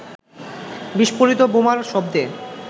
বিস্ফোরিত বোমার শব্দে